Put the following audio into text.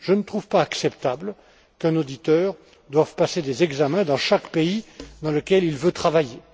Je ne trouve pas acceptable qu'un auditeur doive passer des examens dans chaque pays dans lequel il veut travailler.